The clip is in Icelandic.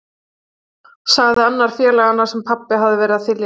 sagði annar félaganna sem pabbi hafði verið að þylja yfir.